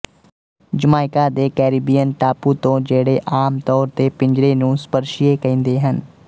Jamaica ਦੇ Caribbean ਟਾਪੂ ਤੋਂ ਜਿਹੜੇ ਆਮ ਤੌਰ ਤੇ ਪਿੰਜਰੇ ਨੂੰ ਸਪਰਸੀਏ ਕਹਿੰਦੇ ਹਨ